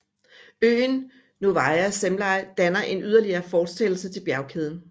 Øen Novaya Zemlya danner en yderligere fortsættelse af bjergkæden